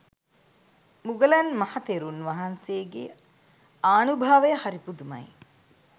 මුගලන් මහතෙරුන් වහන්සේගේ ආනුභාවය හරි පුදුමයි.